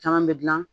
Caman bɛ dilan